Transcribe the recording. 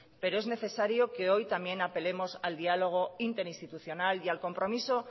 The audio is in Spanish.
pero es necesario que hoy también apelemos al diálogo interinstitucional y al compromiso